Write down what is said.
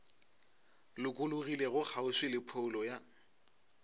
lokologilego kgauswi le phoulo ya